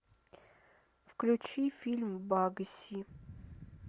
включи фильм багси